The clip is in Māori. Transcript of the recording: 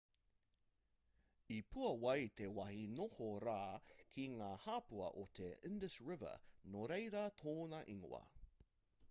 i puāwai te wāhi noho rā ki ngā hāpua o te indus river nō reira tōna ingoa